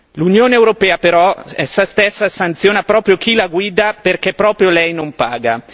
L'Unione europea stessa, però, sanziona proprio chi la guida perché proprio lei non paga.